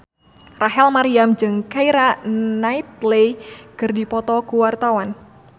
Rachel Maryam jeung Keira Knightley keur dipoto ku wartawan